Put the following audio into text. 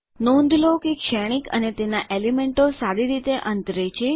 નોંધ લો કે શ્રેણિક અને તેના એલીમેન્ટો સારી રીતે અંતરે છે